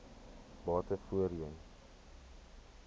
bate voorheen